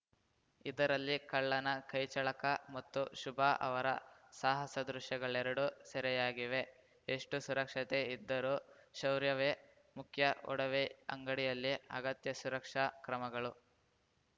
ಇದರಲ್ಲಿ ಕಳ್ಳನ ಕೈಚಳಕ ಮತ್ತು ಶುಭ ಅವರ ಸಾಹಸ ದೃಶ್ಯಗಳೆರಡೂ ಸೆರೆಯಾಗಿವೆ ಎಷ್ಟು ಸುರಕ್ಷತೆ ಇದ್ದರೂ ಶೌರ್ಯವೇ ಮುಖ್ಯ ಒಡವೆ ಅಂಗಡಿಯಲ್ಲಿ ಅಗತ್ಯ ಸುರಕ್ಷಾ ಕ್ರಮಗಳು